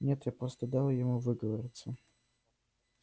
нет я просто дал ему выговориться